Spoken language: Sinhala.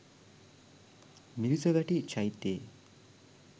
මිරිසවැටි චෛත්‍යයේ